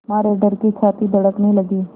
मारे डर के छाती धड़कने लगी